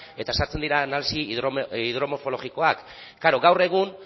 eta sartzen dira analisi hidromorfologikoak klaro gaur egun